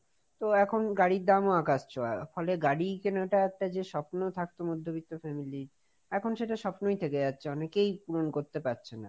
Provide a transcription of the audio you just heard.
তো এখন গাড়ির দামও আকাশ ছোঁয়া, ফলে গাড়ি কেনাটা একটা যে স্বপ্ন থাকতো মধ্যবিত্ত family র, এখন সেটা স্বপ্নই থেকে যাচ্ছে, অনেকেই পূরণ করতে পারছে না।